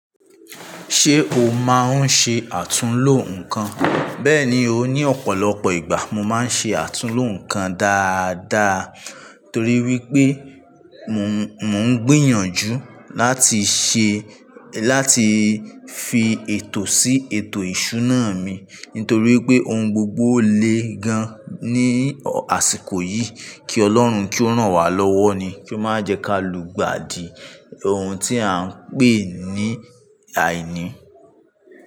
Ṣé o máa ń ṣe àtúnlo nǹkan? Bẹ́ẹ̀ni, o. Ni ọ̀pọ̀lọpọ̀ ìgbà mo máa ń ṣe àtúnlo nǹkan dáadáa torí wípé mò ń gbìyànjú láti fi ètò sí ètò ìṣúná mi nítorí pé ohun gbogbo lé gan ní àsìkò yìí. Kí Ọlọ́run kí ó rán wa lọ́wọ́ ni, kí ó má jẹ́ kí a lu gbàdìí ohun tí a ń pè ní àìní.